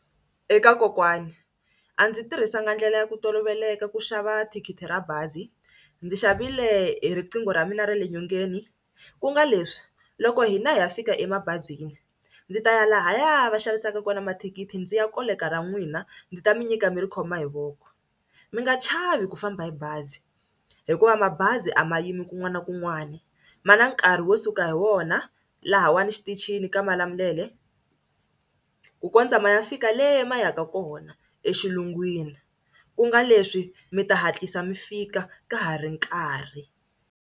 Eka kokwani a ndzi tirhisanga ndlela ya ku toloveleka ku xava thikithi ra bazi. Ndzi xavile hi riqingho ra mina ra le nyongeni ku nga leswi loko hina hi ya fika emabazini ndzi ta ya lahaya va xavisaka kona mathikithi ndzi ya koleka ra n'wina ndzi ta mi nyika mi ri khoma hi voko. Mi nga chavi ku famba hi bazi hikuva mabazi a ma yimi kun'wana na kun'wana ma na nkarhi wo suka hi wo wona lahawani xitichini ka Malamulele ku kondza ma ya fika le ma ya ka kona exilungwini ku nga leswi mi ta hatlisa mi fika ka ha ri nkarhi.